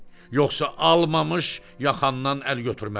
Yoxsa almamış yaxandan əl götürmərəm.